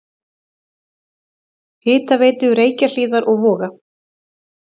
Hitaveitu Reykjahlíðar og Voga.